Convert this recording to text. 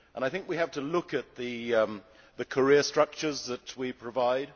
I think we have to look at the career structures that we provide.